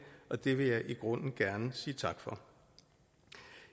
og det vil jeg i grunden gerne sige tak for